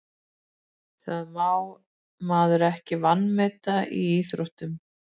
Það má maður ekki vanmeta í íþróttum.